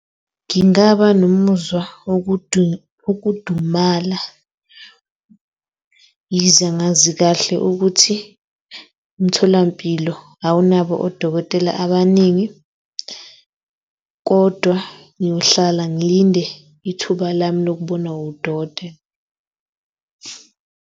Ngingaba nomuzwa wokudumala, yize ngazi kahle ukuthi umtholampilo awunabo odokotela abaningi, kodwa ngiyohlala ngilinde ithuba lami lokubonwa wudokotela.